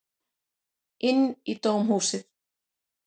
Inn í dómhúsið.